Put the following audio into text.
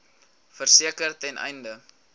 verseker ten einde